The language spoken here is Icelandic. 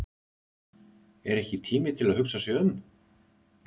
Er ekki tími til að hugsa sig um?